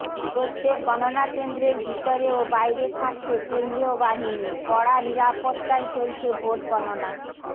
প্রত্যেক গণনাকেন্দ্রের ভিতরে ও বাইরে থাকছে কেন্দ্রীয় বাহিনী কড়া নিরাপত্তায় চলছে ভোট গণনা